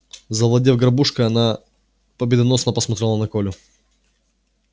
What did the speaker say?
завладев горбушкой она победоносно посмотрела на колю